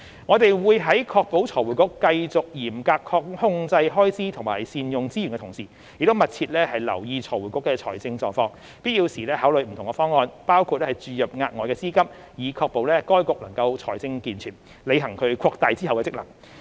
我們會在確保財匯局繼續嚴格控制開支及善用資源的同時，亦密切留意財匯局的財政狀況，必要時考慮不同方案，包括注入額外資金，以確保該局財政健全，履行其擴大的職能。